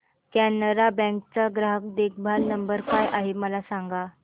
Canara bank चा ग्राहक देखभाल नंबर काय आहे मला सांगा